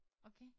Okay